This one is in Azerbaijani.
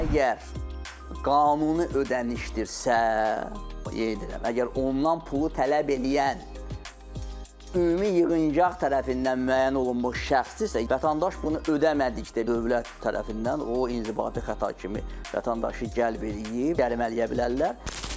Əgər qanuni ödənişdirsə, qeyd edirəm, əgər ondan pulu tələb eləyən ümumi yığıncaq tərəfindən müəyyən olunmuş şəxsdirsə, vətəndaş bunu ödəmədikdə dövlət tərəfindən o inzibati xəta kimi vətəndaşı cəlb eləyib, cərimələyə bilərlər.